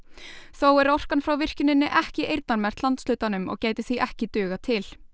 þó er orkan frá virkjuninni ekki eyrnamerkt landshlutanum og gæti því ekki dugað til